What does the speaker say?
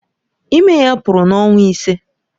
Ime ya pụrụ n'ọnwa ise.